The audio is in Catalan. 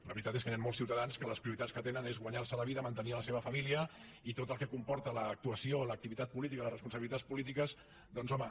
la veritat és que hi han molts ciutadans que les prioritats que tenen és guanyar se la vida mantenir la seva família i tot el que comporta l’actuació o l’activitat política les responsabilitats polítiques doncs home